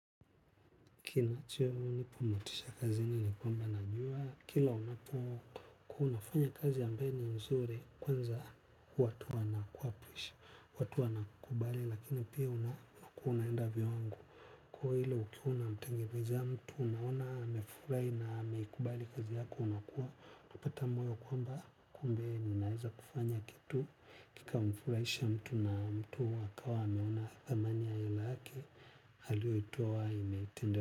Kinacho nipamotisha kazi nini kwamba najua kila unapo kuwa unafanya kazi ambayo ni mzuri kwanza watu wana kuapwisha, watu wana kubali lakini pia unakuwa una enda viwango. Kwa hilo ukiona mtengenezea mtu unaona amefurai na ameikubali kazi yako unakuwa, nupata mweo kwamba kumbe ninaweza kufanya kitu. Kika mfulaisha mtu na mtu akawa ameona thamani ya hela yame halio itoa imetende.